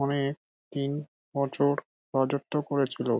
অনে তিন বছর রাজত্ব করেছিল ।